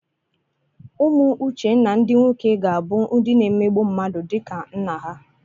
Ụmụ Uchenna ndị nwoke ga-abụ ndị na-emegbu mmadụ dịka nna ha.